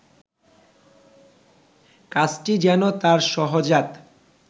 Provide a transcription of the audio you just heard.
কাজটি যেন তাঁর সহজাত